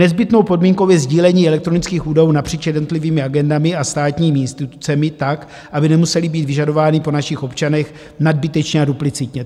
Nezbytnou podmínkou je sdílení elektronických údajů napříč jednotlivými agendami a státními institucemi tak, aby nemusely být vyžadovány po našich občanech nadbytečně a duplicitně.